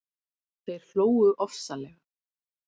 Þeir hlógu ofsalega.